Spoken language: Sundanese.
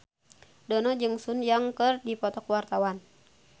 Dono jeung Sun Yang keur dipoto ku wartawan